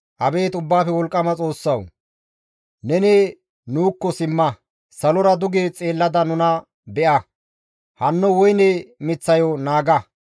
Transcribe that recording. Abeet Ubbaafe Wolqqama Xoossawu! Neni nuukko simma; salora duge xeellada nuna be7a; hanno woyne miththayo naaga.